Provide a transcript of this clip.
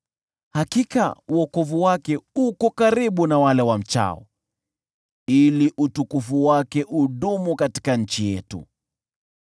Hakika wokovu wake uko karibu na wale wamchao, ili utukufu wake udumu katika nchi yetu.